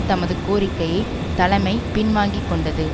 தமது கோரிக்கையை தலைமை பின்வாங்கிக்கொண்டது